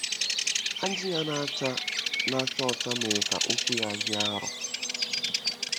Ajị ya na-acha na-acha ọcha mere ka okwu ya dị arọ.